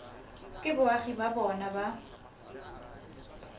ke boagi ba bona ba